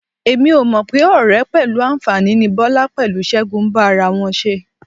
Mi ò mọ̀ pé ọ̀rẹ́ pẹ̀lú àǹfàní ni Bọ́lá pẹ̀lú Ṣẹ́gun ń bá ara wọn ṣe.